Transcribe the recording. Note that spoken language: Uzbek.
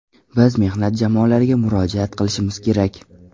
Biz mehnat jamoalariga murojaat qilishimiz kerak.